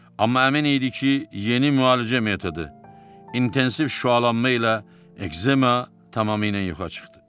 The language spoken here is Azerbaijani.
Amma əmin idi ki, yeni müalicə metodu – intensiv şüalanma ilə ekzema tamamilə yoxa çıxdı.